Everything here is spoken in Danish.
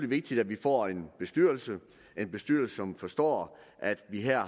vigtigt at vi får en bestyrelse en bestyrelse som forstår at vi her